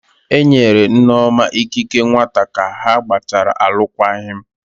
Enyere Nneoma ikike nwata ka ha gbachara alụkwaghịm